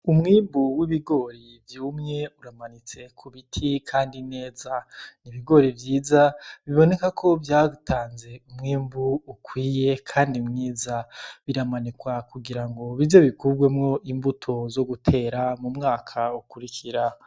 Umwimbu w'ibigori vyumye uramanitse ku biti, kandi nezan'ibigori vyiza biboneka ko vyatanze umwembu ukwiye, kandi mwiza biramanekwa kugira ngo bivyo bikubwemwo imbuto zo gutera mu mwaka ukurikira.